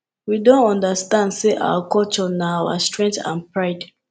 we don understand say our culture na our strength and pride